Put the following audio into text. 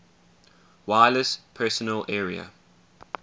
wireless personal area